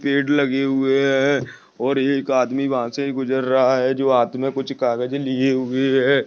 पेड़ लगे हुए हैं और एक आदमी वहाँ से गुजर रहा है जो हाथ में कुछ कागज लिए हुए है।